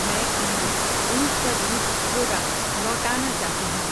میں امول اونٹ کا دودھ پروڈکٹ لوٹانا چاہتی ہوں